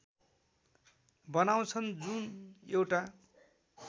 बनाउँछन् जुन एउटा